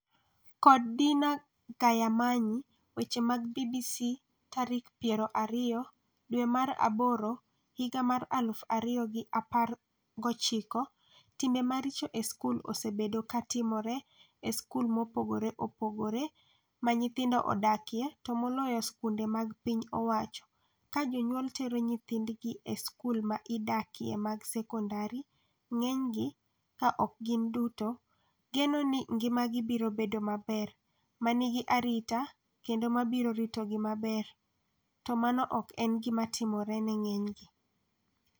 kod Dinah Gahamanyi weche mag BBC tarik piero ariyo dwe mar aboro higa mar aluf ariyo gi apar gochiko, timbe maricho e skul osebedo ka timore e skul mopogore opogore ma nyithindo odakiye to moloyo skunde mag piny owacho Ka jonyuol tero nyithindgi e skul ma idakiye mag sekondari, ng'enygi, ka ok gin duto, geno ni ngimagi biro bedo maber, ma nigi arita kendo ma biro ritogi maber, to mano ok en gima timore ne ng'enygi